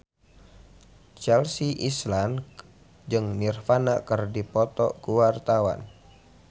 Chelsea Islan jeung Nirvana keur dipoto ku wartawan